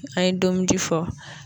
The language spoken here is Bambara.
A ye denkundi fɔ